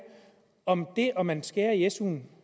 om det at man skærer i suen